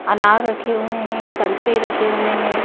अनार रखे हुए हैं संतरे रखे हुए हैं।